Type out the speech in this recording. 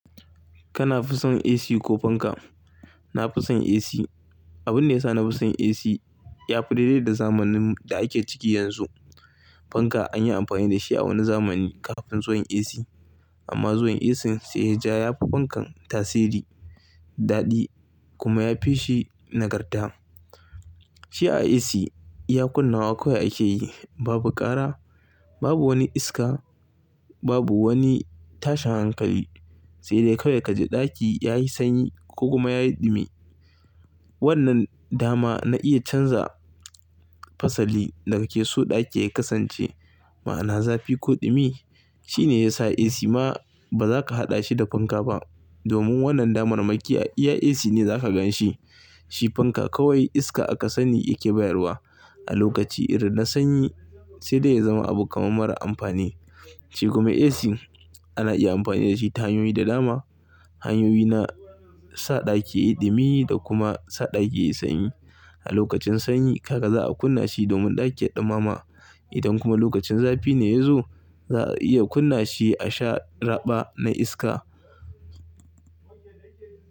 Kana fi son AC ko fanka? Na fi son AC. Abun da ya sa na fi son AC, ya fi daidai da zamanin da ake ciki yanzu. Fanka an yi amfani da shi a wani zamani kafin zuwan AC amma zuwan AC sai ya ja ya fi fankan tasiri, daɗi kuma ya fi shi nagarta. Shi a AC, ya kunna wa kawai ake yi, babu ƙara, babu wani iska, babu wani tashin hankali sai dai kawai ka ji ɗaki yayi sanyi ko kuma yayi ɗumi. Wannan dama na iya canza fasali daga ke so ɗaki ya kasance ma'ana zafi ko ɗumi shine ya sa AC ma ba za ka haɗa shi da fanka ba domin wannan damar makiyiya AC ne za ka gan shi. Shi fanka kawai iska aka sani yake bayarwa a lokaci irin na sanyi sai dai ya zama abu kamar mara amfani. Shi kuma AC ana iya amfani da shi ta hanyoyi da dama, hanyoyi na sa ɗaki yayi ɗumi da kuma sa ɗaki yayi sanyi. A lokacin sanyi, haka za a kunna shi domin ɗaki ya ɗumama. Idan kuma lokacin zafi ne ya zo, za a iya kunna shi a sha raɓa na iska.